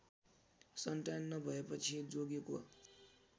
सन्तान नभएपछि जोगीको